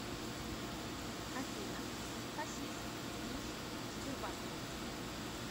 афина хасис из сбербанка